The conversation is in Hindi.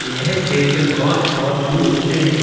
यह क्षेत्र बोहोत बोहोत दूर होते हैं।